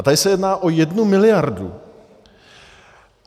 A tady se jedná o jednu miliardu.